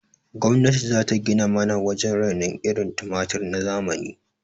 Gwamnati zata gina mana wajen rainon irin tumatir na zamani